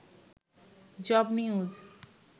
job news